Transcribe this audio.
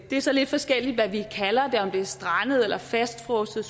det er så lidt forskelligt hvad vi kalder det om de er strandet eller fastfrosset